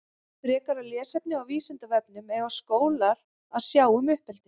Frekara lesefni á Vísindavefnum Eiga skólar að sjá um uppeldi?